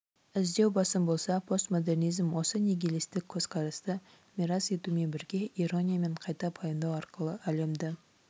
іздеу басым болса постмодернизм осы нигилистік көзқарасты мирас етумен бірге ирониямен қайта пайымдау арқылы әлемді